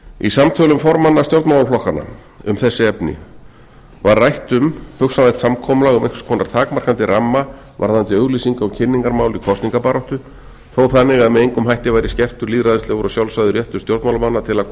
í samtölum formanna stjórnmálaflokkanna um þessi efni var rætt um hugsanlegt samkomulag um einhvers konar takmarkandi ramma varðandi auglýsinga og kynningarmál í kosningabaráttu þó þannig að með engum hætti væri skertur lýðræðislegur og sjálfsagður réttur stjórnmálamanna til að